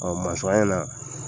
Ɔɔɔ mansɔ an ye na